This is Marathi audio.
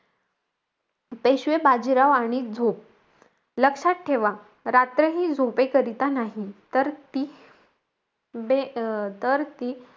पेशवे बाजीराव आणि झोप. लक्षात ठेवा रात्र हि झोपेकरिता नाही. तर ती बे अं तर ती,